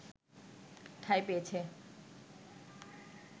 ঠাঁই পেয়েছে